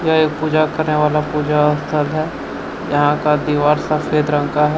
यह एक पूजा करने वाला पूजा स्थल है यहां का दीवार सफेद रंग का है।